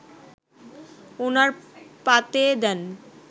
ওনার পাতে দেন